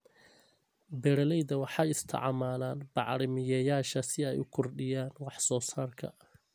Beeralayda waxay isticmaalaan bacrimiyeyaasha si ay u kordhiyaan wax soo saarka.